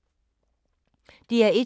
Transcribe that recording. DR1